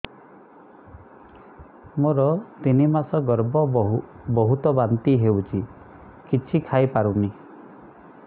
ମୋର ତିନି ମାସ ଗର୍ଭ ବହୁତ ବାନ୍ତି ହେଉଛି କିଛି ଖାଇ ପାରୁନି